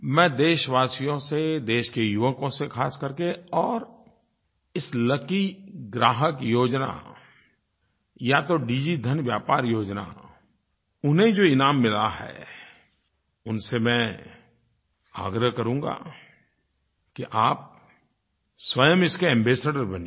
मैं देशवासियों से देश के युवकों से ख़ासकर करके और इस लकी ग्राहक योजना या तो डिजिधन व्यापार योजना उन्हें जो इनाम मिला है उनसे मैं आग्रह करूँगा कि आप स्वयं इसके एम्बासाडोर बनिए